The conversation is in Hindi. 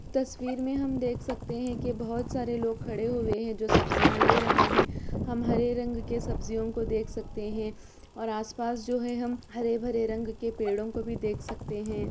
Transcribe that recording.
तस्वीर में हम देख सकते है की बहुत सारे लोग खड़े हुए हैं जो सब्जियाँ ले रहे हैं हम हरे रंग की सब्जियों को देख सकते है और आस-पास जो है हम हरे-भरे रंग के पेड़ों को भी देख सकते है।